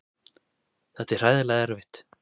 Þetta er hræðilega erfitt.